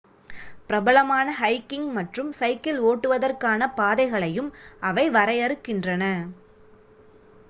பிரபலமான ஹைகிங் மற்றும் சைக்கிள் ஓட்டுவதற்கான பாதைகளையும் அவை வரையறுக்கின்றன